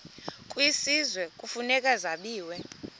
kwisizwe kufuneka zabiwe